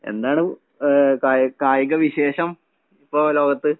എന്താണ് ഏഹ് കായ് കായിക വിശേഷം ഇപ്പൊ ലോകത്ത്?